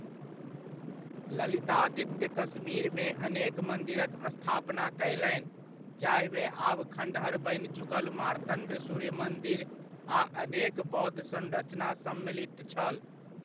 ललितादित्य कश्मीरमे अनेक मन्दिरक स्थापना कयलनि, जाहिमे आब खँड़हर बनि चुकल मार्तण्ड सूर्य मन्दिर आ अनेक बौद्ध संरचना सम्मिलित छल।